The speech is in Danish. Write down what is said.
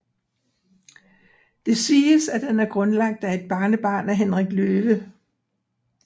Det siges at den er grundlagt af et barnebarn af Henrik Løve